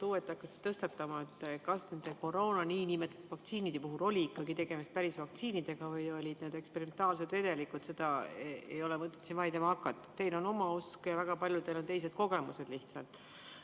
Hakata uuesti tõstatama seda teemat, kas need niinimetatud koroonavaktsiinid olid ikkagi päris vaktsiinid või olid need eksperimentaalsed vedelikud – siin ei ole mõtet vaidlema hakata, teil on oma usk, aga väga paljudel on lihtsalt teistsugused kogemused.